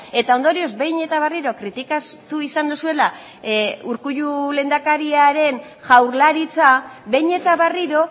eta ondorioz behin eta berriro kritikatu izan duzuela urkullu lehendakariaren jaurlaritza behin eta berriro